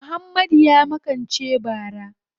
Muhammadu ya makance bara.